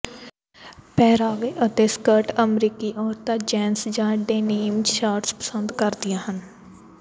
ਪਹਿਰਾਵੇ ਅਤੇ ਸਕਰਟ ਅਮਰੀਕੀ ਔਰਤਾਂ ਜੈਨਸ ਜਾਂ ਡੈਨੀਮ ਸ਼ਾਰਟਸ ਪਸੰਦ ਕਰਦੀਆਂ ਹਨ